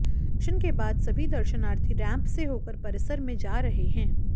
दर्शन के बाद सभी दर्शनार्थी रेंप से होकर परिसर में जा रहे हैं